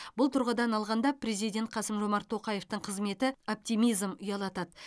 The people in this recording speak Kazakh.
бұл тұрғыдан алғанда президент қасым жомарт тоқаевтың қызметі оптимизм ұялатады